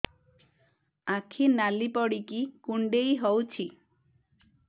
ଆଖି ନାଲି ପଡିକି କୁଣ୍ଡେଇ ହଉଛି